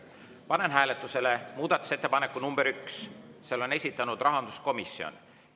Panen hääletusele muudatusettepaneku nr 1, selle on esitanud rahanduskomisjon.